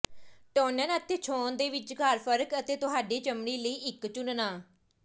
toner ਅਤੇ ਛੋਹਣ ਦੇ ਵਿਚਕਾਰ ਫਰਕ ਅਤੇ ਤੁਹਾਡੀ ਚਮੜੀ ਲਈ ਇੱਕ ਚੁਣਨਾ